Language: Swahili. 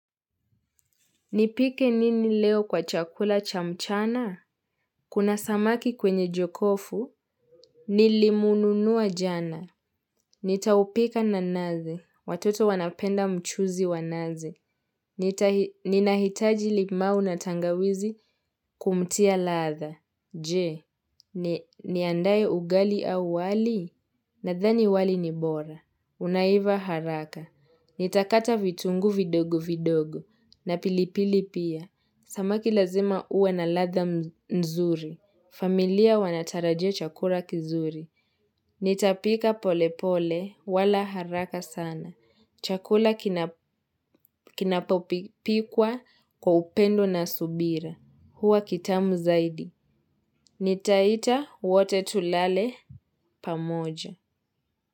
Nipike nini leo kwa chakula cha mchana? Kuna samaki kwenye jokofu. Nilimununua jana. Nitaupika na naze. Watoto wanapenda mchuzi wa naze. Ninahitaji limau na tangawizi kumtia ladha. Je. Niandae ugali au wali? Nadhani wali ni bora. Unaiva haraka. Nitakata vitungu vidogo vidogo. Na pilipili pia. Samaki lazima uwe na ladha nzuri. Familia wanatarajia chakula kizuri. Nitapika pole pole wala haraka sana. Chakula kinapopikwa kwa upendo na subira. Huwa kitamu zaidi. Nitaita wote tulale pamoja.